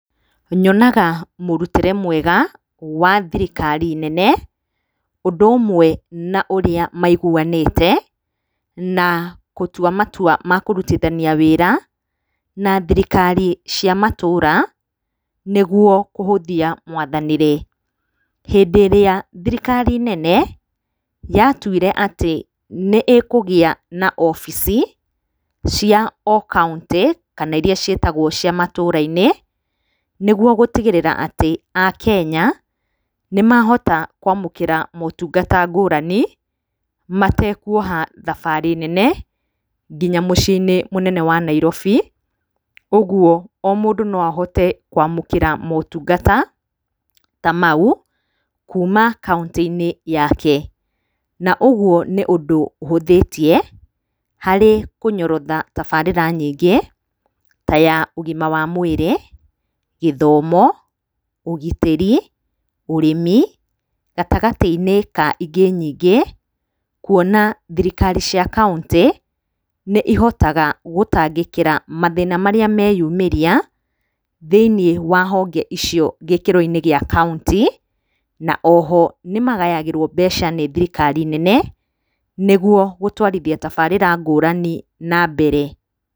Nyonaga mũrutĩre mwega wa thirikari nene ũndũ ũmwe na ũrĩa maiguanĩte na gũtua matua makũrutithania wĩra na thirikari cia matũra nĩguo kũhũthia mwathanĩre. Hĩndĩ ĩrĩa thirikari nene yatuire nĩkũgĩa na obici cia o kauntĩ kana iria ciĩtagwo cia matũra-inĩ, nĩguo gũtigĩrĩra atĩ akenya nĩmahota kwamũkĩra motungata ngũrani matekuoha thabarĩ nene nginya mũciĩ mũnene wa Nairobi. Ũguo o mũndũ no ahote kwamũkĩra motungata ta mau kuma o kauntĩ-inĩ yake. Na ũguo nĩ ũndũ ũhũthĩtie harĩ kũnyorotha tabarĩra nyingĩ ta ya ũgima wa mwĩrĩ, gĩthomo, ũgitĩri, ũrĩmi gatagatĩ-inĩ wa ingĩ nyingĩ. Kuona thirikari cia kauntĩ nĩihotaga gũtangĩkĩra mathĩna marĩa meyumĩria thĩinĩ wa honge icio gĩkĩro-inĩ gia kauntĩ. Na oho nĩmagayagĩrwo mbeca nĩ thirikari nene nĩguo gũtwarithia tabarĩra ngũrani na mbere.